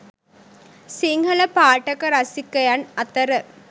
සිංහල පාඨක රසිකයන් අතර